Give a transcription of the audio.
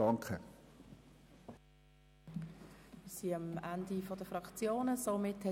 Wir sind am Ende der Liste der Fraktionssprechenden angelangt.